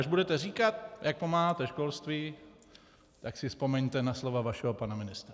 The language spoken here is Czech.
Až budete říkat, jak pomáháte školství, tak si vzpomeňte na slova vašeho pana ministra.